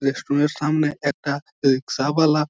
restaurant -এর সামনে একটা রিক্সা -বালা--